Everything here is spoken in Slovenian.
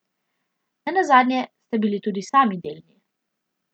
Ne nazadnje ste bili tudi sami del nje.